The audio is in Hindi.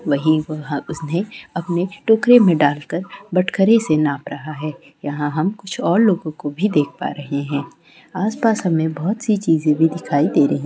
वही वहां उसने अपने टोकरी में डालकर बटखरे से नाप रहा है यहां हम कुछ और लोगों को भी देख पा रहे हैं आसपास हमें बहुत सी चीजें भी दिखाई दे रही है।